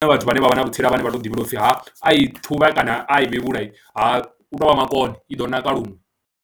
Zwi ṱoḓa vhathu vhane vha vha na vhutsila vhane vha tou ḓivhelwa u pfhi ha a i ṱhuvha kana a i vhevhula ha tou vha makone, i ḓo naka luṅwe.